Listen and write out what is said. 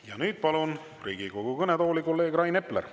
Ja nüüd palun Riigikogu kõnetooli kolleeg Rain Epleri.